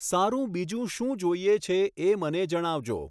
સારું બીજું શું જોઈએ છે એ મને જણાવજો